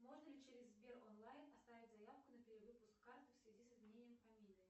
можно ли через сбер онлайн оставить заявку на перевыпуск карты в связи с изменением фамилии